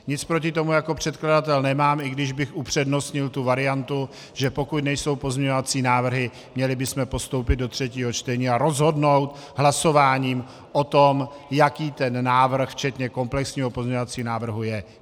Nic proti tomu jako předkladatel nemám, i když bych upřednostnil tu variantu, že pokud nejsou pozměňovací návrhy, měli bychom postoupit do třetího čtení a rozhodnout hlasováním o tom, jaký ten návrh, včetně komplexního pozměňovacího návrhu, je.